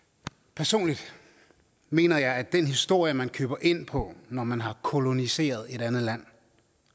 personligt mener jeg at den historie man køber ind på når man har koloniseret et andet land